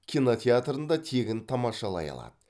кинотеатрында тегін тамашалай алады